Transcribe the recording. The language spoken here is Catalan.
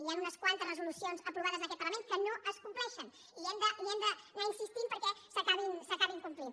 hi han unes quantes resolucions aprovades en aquest parlament que no es compleixen i hem d’anar insistint perquè s’acabin complint